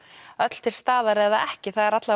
öll til staðar eða ekki það eru